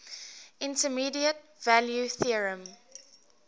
intermediate value theorem